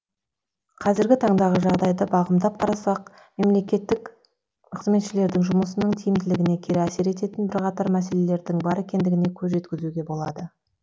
қазіргі таңдағы жағдайды бағымдап қарасақ мемлекеттік қызметшілердің жұмысының тиімділігіне кері әсер ететін бір қатар мәселелердің бар екендігіне көз жеткізуге болады